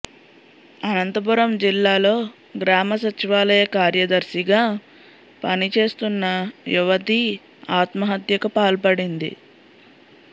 అనంతపురం జిల్లాలో గ్రామ సచివాలయ కార్యదర్శిగా పని చేస్తున్న యువతి ఆత్మహత్యకు పాల్పడింది